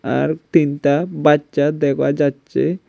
আর তিনটা বাচ্চা দেখা যাচ্ছে।